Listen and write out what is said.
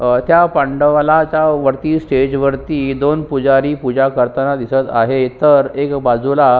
अ त्या पांडवाला वरती स्टेज वरती दोन पुजारी पूजा करताना दिसत आहेत तर एका बाजूला--